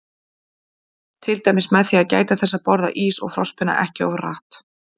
Til dæmis með því að gæta þess að borða ís og frostpinna ekki of hratt.